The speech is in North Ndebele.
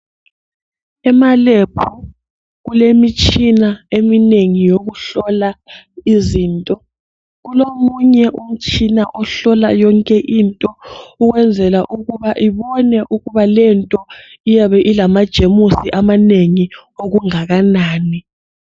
Emalebhu kulemitshina eminengi yokuhlola izinto. Kulomunye umtshina ohlola yonke into ukwenzela ukuba ubone ukuba lento iyabe ilamajemusi amanengi okungakanani.